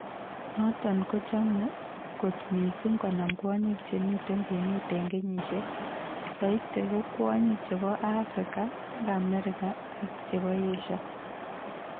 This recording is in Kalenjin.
Noton kochome kot mising konam kwonyik che mi kwenet en kenyisiek. Soiti ko kwonyik chepo africa ag america ag chepo asia.